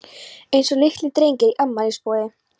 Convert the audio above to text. Eins og litlir drengir í afmælisboði.